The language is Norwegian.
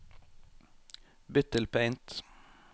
Bytt til Paint